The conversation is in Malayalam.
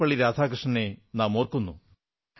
സർവ്വപ്പള്ളി രാധാകൃഷ്ണനെ നാമോർക്കുന്നു